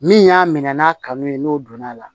Min y'a minɛ n'a kanu ye n'o donna a la